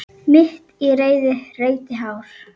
Mitt í reiði reyti hár.